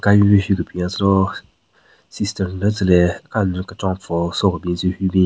Ka anyu ne hyu kebin yatselo sister nden tsüle kanyü kechon pvüo so kebin tsü hyu bin.